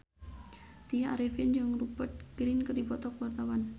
Tya Arifin jeung Rupert Grin keur dipoto ku wartawan